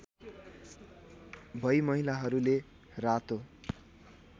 भई महिलाहरूले रातो